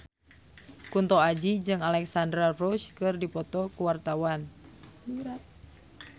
Kunto Aji jeung Alexandra Roach keur dipoto ku wartawan